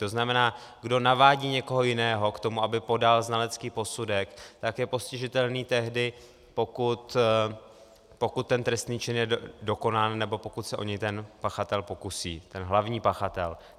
To znamená, kdo navádí někoho jiného k tomu, aby podal znalecký posudek, tak je postižitelný tehdy, pokud ten trestný čin je dokonán nebo pokud se o něj ten pachatel pokusí, ten hlavní pachatel.